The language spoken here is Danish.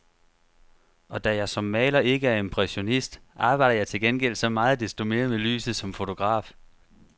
Og da jeg som maler ikke er impressionist, arbejder jeg til gengæld så meget desto mere med lyset som fotograf.